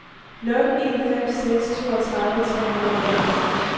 nul en fem seks toogtredive tre hundrede og otteogfyrre